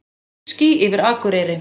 Glitský yfir Akureyri